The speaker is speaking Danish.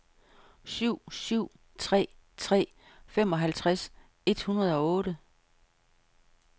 syv syv tre tre femoghalvtreds et hundrede og otte